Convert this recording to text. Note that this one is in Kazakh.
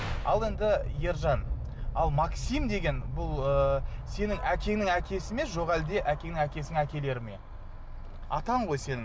ал енді ержан ал максим деген бұл ы сенің әкеңнің әкесі ме жоқ әлде әкеңнің әкесінің әкелері ме атаң ғой сенің